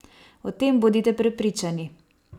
O tem bodite prepričani!